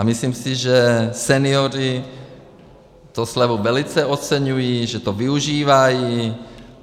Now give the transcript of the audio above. A myslím si, že senioři tu slevu velice oceňují, že to využívají.